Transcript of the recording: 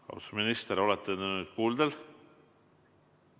Austatud minister, kas te olete nüüd kuuldel?